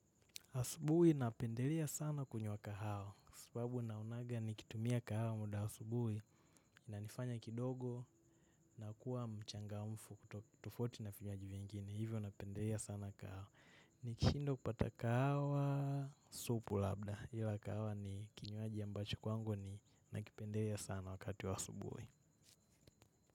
Asuburi napendelea sana kunywa kahawa. Sababu naonaga nikitumia kahawa muda asubuhi inanifanya kidogo nakuwa mchangamfu tofauti na vinywaji vingine. Hivyo napendelea sana kahawa. Nikishindwa kupata kahawa supu labda. Hila kahawa ni kinywaji ambacho kwangu ninakipendelea sana wakati wa asubuhi.